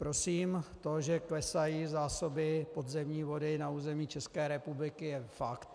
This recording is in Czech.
Prosím, to, že klesají zásoby podzemní vody na území České republiky, je fakt.